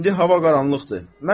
İndi hava qaranlıqdır.